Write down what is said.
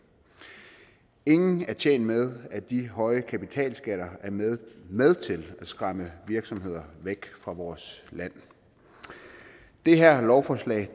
ingen er tjent med at de høje kapitalskatter er med med til at skræmme virksomheder væk fra vores land det her lovforslag